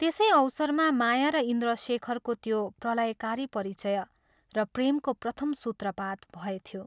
त्यसै अवसरमा माया र इन्द्रशेखरको त्यो प्रलयकारी परिचय र प्रेमको प्रथम सूत्रपात भएथ्यो।